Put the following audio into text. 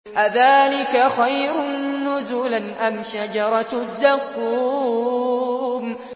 أَذَٰلِكَ خَيْرٌ نُّزُلًا أَمْ شَجَرَةُ الزَّقُّومِ